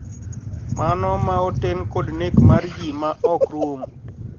Mano ma oten kod nek mar ji ma ok rum